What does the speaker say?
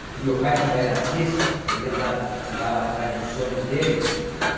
Porque o meu pai, como era artista, ele andada andava atrás dos sonhos dele.